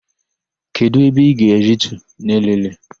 Kedụ ebe ị ga-aritu n'Elele?